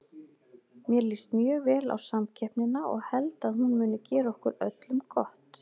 Mér líst mjög vel á samkeppnina og held að hún muni gera okkur öllum gott.